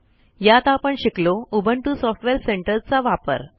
यात आपण शिकलो उबुंटू सॉफ्टवेअर सेंटर चा वापर